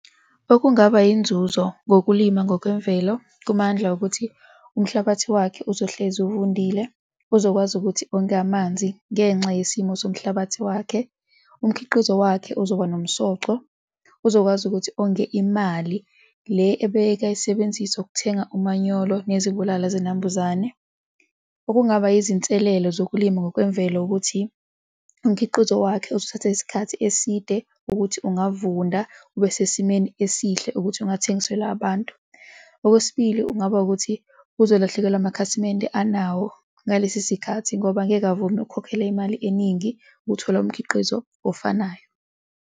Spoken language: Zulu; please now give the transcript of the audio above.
Okungaba yinzuzo ngokulima ngokwemvelo kuMandla ukuthi umhlabathi wakhe uzohlezi uvundile, uzokwazi ukuthi onge amanzi ngenxa yesimo somhlabathi wakhe. Umkhiqizo wakhe uzoba nomsoco, uzokwazi ukuthi onge imali le ebekayisebenzisa ukuthenga umanyolo nezibulala zinambuzane. Okungaba yizinselelo zokulima ngokwemvelo ukuthi umkhiqizo wakho uzothatha isikhathi eside ukuthi ungavunda, ube sesimeni esihle ukuthi ungathengiselwa abantu. Okwesibili, kungaba ukuthi uzolahlekelwa amakhasimende anawo ngalesi sikhathi ngoba angeke avume ukhokhela imali eningi ukuthola umkhiqizo ofanayo.